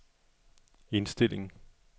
indstilling